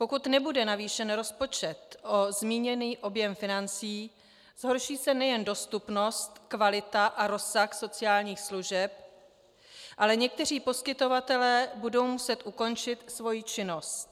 Pokud nebude navýšen rozpočet o zmíněný objem financí, zhorší se nejen dostupnost, kvalita a rozsah sociálních služeb, ale někteří poskytovatelé budou muset ukončit svoji činnost.